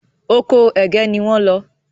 Ọkọ ẹgẹ ní wón ló.